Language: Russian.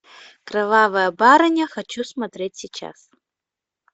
кровавая барыня хочу смотреть сейчас